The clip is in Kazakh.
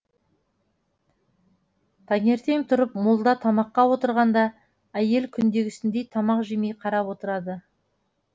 таңертең тұрып молда тамаққа отырғанда әйел күндегісіндей тамақ жемей қарап отырады